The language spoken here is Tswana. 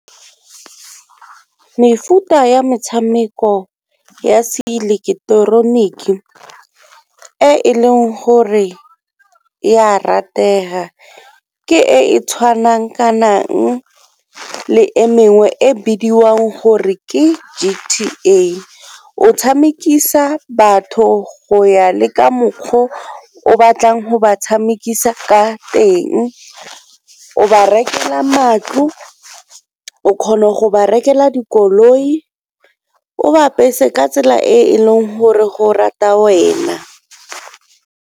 Mefuta ya metshameko ya se ileketeroniki e e leng gore ya ratega ke e e tshwanang kanang le e mengwe e bidiwang gore ke G_T_A. O tshamekisa batho go ya le ka mokgwa o batlang go ba tshamekisa ka teng, o ba rekela matlo, o kgona go ba rekele dikoloi, o ba apese ka tsela e e leng gore go rata wena.